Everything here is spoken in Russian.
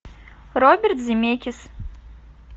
роберт земекис